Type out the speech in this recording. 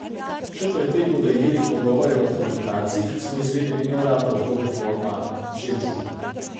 Še pred tem bodo imeli pogovore o humanitarcih, smo izvedeli neuradno ob robu foruma Džedžu.